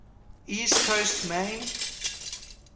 east coast maine